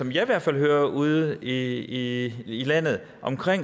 i hvert fald hører ude i landet om